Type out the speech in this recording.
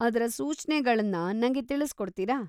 ಅದ್ರ ಸೂಚ್ನೆಗಳನ್ನ ನಂಗೆ ತಿಳಿಸ್ಕೊಡ್ತೀರಾ?